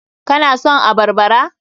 Ka na son abarbara?